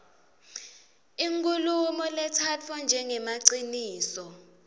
inkhulumo letsatfwa njengemaciniso